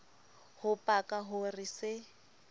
ho paka ho re se